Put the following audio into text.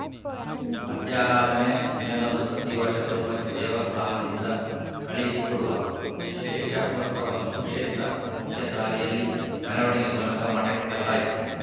ಮಧ್ಯಾರಾಧನೆ ದಿನದಂದು ಪ್ರತಿ ವರ್ಷ ತಿರುಪತಿ ದೇವಸ್ಥಾನದಿಂದ ಕಳುಹಿಸಿಕೊಡುವ ಶೇಷವಸ್ತ್ರವನ್ನು ಸುಕ್ಷೇತ್ರ ಮುಖ್ಯದಾರಿಯಲ್ಲಿ ಮೆರವಣಿಗೆ ಮೂಲಕ ಮಠಕ್ಕೆ ತರಲಾಯಿತು